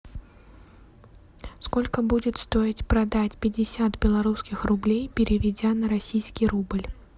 сколько будет стоит продать пятьдесят белорусских рублей переведя на российский рубль